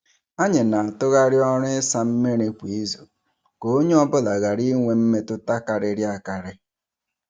Anyị na-atụgharị ọrụ ịsa mmiri kwa izu ka onye ọ bụla ghara inwe mmetụta karịrị akarị.